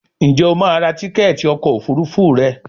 njé o ma rà Tíkẹ́ẹ̀tì ọkọ̀ òfurufú rẹ?